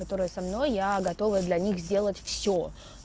которая со мной я готова для них сделать все